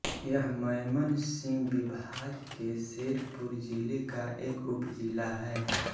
यह मय़मनसिंह विभाग के शेरपुर ज़िले का एक उपजिला है